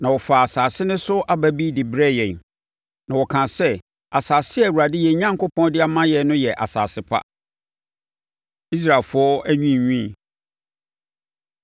Na wɔfaa asase no so aba bi de brɛɛ yɛn. Na wɔkaa sɛ, asase a Awurade yɛn Onyankopɔn de ama yɛn no yɛ asase pa. Israelfoɔ Anwiinwii